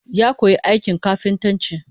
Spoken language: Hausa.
Ya koyi aikin kafintanci